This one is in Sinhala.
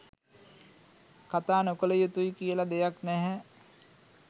කතා නොකළ යුතුයි කියලා දෙයක් නැහැ.